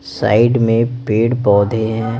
Side में पेड़-पौधे हैं।